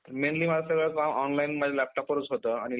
mainly माझं सगळं काम online म्हणजे laptop वरचं होतं आणि